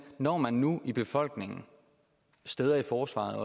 når man nu i befolkningen og steder i forsvaret